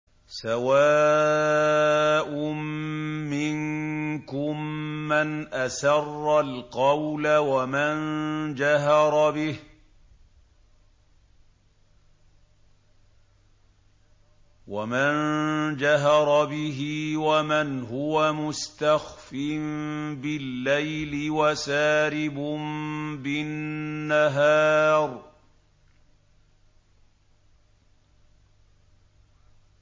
سَوَاءٌ مِّنكُم مَّنْ أَسَرَّ الْقَوْلَ وَمَن جَهَرَ بِهِ وَمَنْ هُوَ مُسْتَخْفٍ بِاللَّيْلِ وَسَارِبٌ بِالنَّهَارِ